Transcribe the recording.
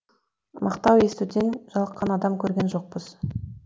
мақтау естуден жалыққан адам көрген жоқпыз